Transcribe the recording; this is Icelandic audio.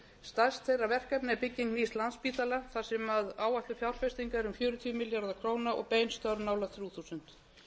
stærst þeirra verkefna er bygging nýs landspítala þar sem áætlum fjárfesting er um fjörutíu milljarðar króna og bein störf nálægt þrjú þúsund